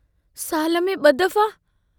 साल में ब दफ़ा?